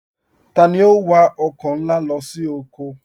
Tani o n wà ọkọ nlá lọ sí ọkọ?